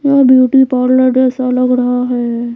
यह beauty parlour जैसा लग रहा है।